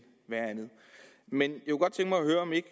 være andet men